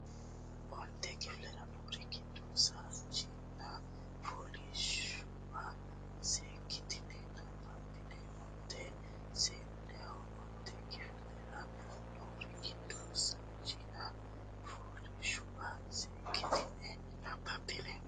Onte kifilera noori giddo sajiina fooliishshuwa seekkitine nabbabbine onte seenneho Onte kifilera noori giddo sajiina fooliishshuwa seekkitine nabbabbine onte Onte.